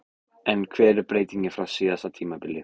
En hver er breytingin frá síðasta tímabili?